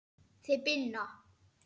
Þið Binna?